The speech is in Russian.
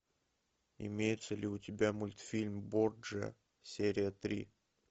имеется ли у тебя мультфильм борджиа серия три